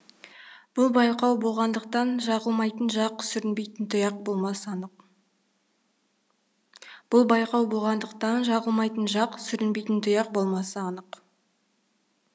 бұл байқау болғандықтан жағылмайтын жақ сүрінбейтін тұяқ болмасы анық